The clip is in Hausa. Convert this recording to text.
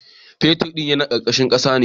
Fetar ɗin yana karkashin kasa ne